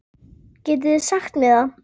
Getið þið sagt mér það?